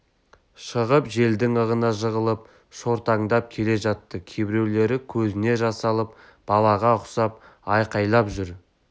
шығып желдің ығына жығылып жортаңдап келе жатты кейбіреулері көзіне жас алып балаға ұқсап айқайлап жүр